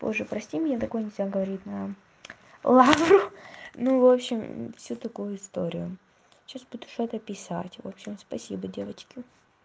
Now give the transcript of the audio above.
боже прости меня так нельзя говорить на лавру ну в общем все такую историю сейчас буду что-то писать в общем спасибо девочки